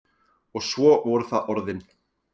Og svo voru það orðin.